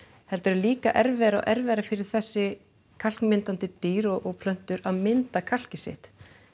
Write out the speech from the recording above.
heldur er líka erfiðara erfiðara fyrir þessi kalkmyndandi dýr og plöntur að mynda kalkið sitt